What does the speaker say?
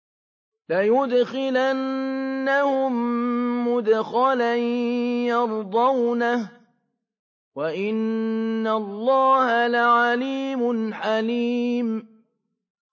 لَيُدْخِلَنَّهُم مُّدْخَلًا يَرْضَوْنَهُ ۗ وَإِنَّ اللَّهَ لَعَلِيمٌ حَلِيمٌ